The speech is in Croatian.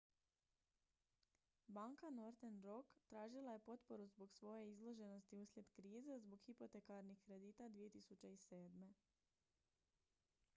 banka northern rock tražila je potporu zbog svoje izloženosti uslijed krize zbog hipotekarnih kredita 2007